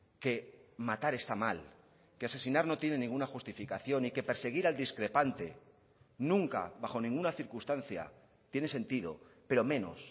que matar está mal que asesinar no tiene ninguna justificación y que perseguir al discrepante nunca bajo ninguna circunstancia tiene sentido pero menos